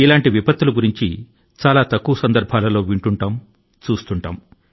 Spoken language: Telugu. వాస్తవానికి ఈ రకమైన ప్రతికూలతలు అన్నిటినీ ఒకే సారి విన్న సందర్భాలు చాలా అరుదు